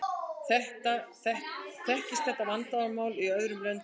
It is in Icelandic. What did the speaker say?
Þekkist þetta vandamál í öðrum löndum?